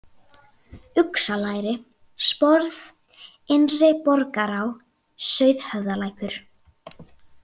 Uxalæri, Sporð, Innri-Borgará, Sauðhöfðalækur